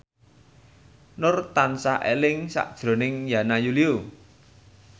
Nur tansah eling sakjroning Yana Julio